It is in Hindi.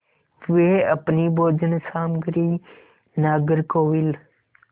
वे अपनी भोजन सामग्री नागरकोविल